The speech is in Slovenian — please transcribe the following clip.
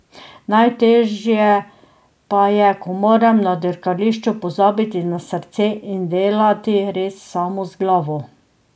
Najtežje pa je, ko moram na dirkališču pozabiti na srce in delati res samo z glavo.